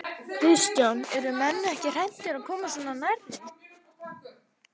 Kristján: Eru menn ekki hræddir að koma svona nærri?